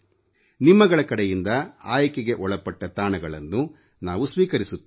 ನಿಮ್ಮಗಳ ಕಡೆಯಿಂದ ಆಯ್ಕೆಗೆ ಒಳಪಟ್ಟ ತಾಣಗಳನ್ನು ನಾವು ಸ್ವೀಕರಿಸುತ್ತೇವೆ